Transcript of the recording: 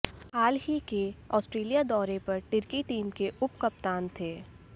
हाल ही के आस्ट्रेलिया दौरे पर टिर्की टीम के उपकप्तान थे